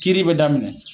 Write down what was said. Kiiri be daminɛ